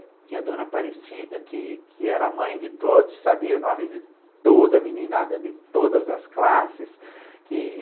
Tinha a dona Aparecida, que que era a mãe de todos, sabia o nome de toda a meninada, de todas as classes que